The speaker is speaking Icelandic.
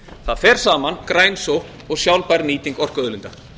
það fer saman græn sókn og sjálfbær nýting orkuauðlinda